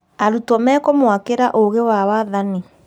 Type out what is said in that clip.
Arutwo mekũmwakĩra ũũgi wa wathani